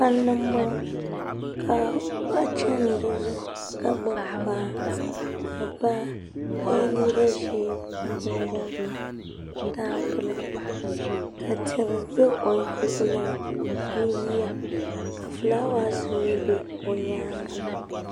Palli n bɔŋo ka paɣa chani di zuɣu ka gbubi kpaa ni baa ka yɛ liiga ʒee ni jinjam tampilim ka tihi za o luɣuli ni ni yiya ka filaawaas mi bɛ o nyaanga.